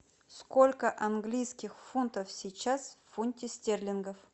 сколько английских фунтов сейчас в фунте стерлингов